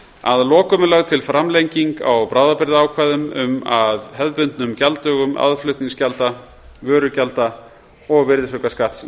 að lokum er lögð til framlenging á bráðabirgðaákvæðum um að hefðbundnum gjalddögum aðflutningsgjalda vörugjalda og virðisaukaskatts í